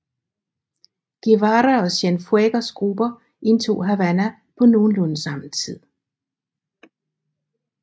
Guevara og Cienfuegos grupper indtog Havana på nogenlunde samme tid